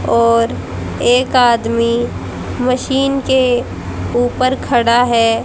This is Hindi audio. और एक आदमी मशीन के ऊपर खड़ा है।